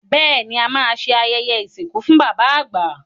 Bẹ́ẹ̀ ni, à máa ṣe ayẹyẹ ìsìnkú fún bàbá àgbà.